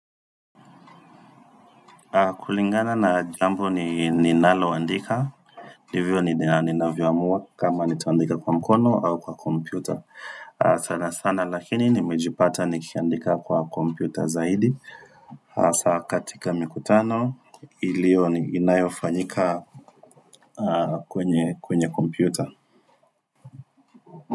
Kulingana na jambo ni ninalo andika, ndivyo ni navyoamua kama nitaandika kwa mkono au kwa kompyuta. Sana sana lakini nimejipata nikiandika kwa kompyuta zaidi, hasa katika mikutano iliyo inayofanyika kwenye kompyuta.